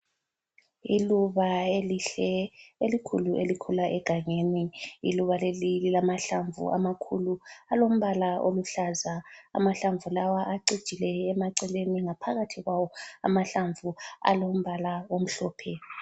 Iluba elihle elikhulu elikhula egangeni. Iluba leli lilamahlamvu amakhulu alombala oluhlaza, amahlamvu lawa acijile emaceleni ngaphakathi kwawo amahlamvu alombala omhlophe.